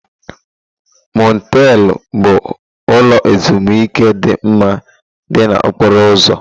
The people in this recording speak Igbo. Motelụ bụ ụlọ ezimuike dị mma dị na okporo ụzọ.